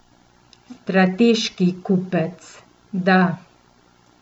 Strateški kupec, da.